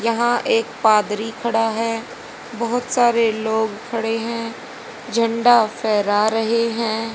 यहां एक पादरी खड़ा है बहुत सारे लोग खड़े हैं झंडा फहरा रहे हैं।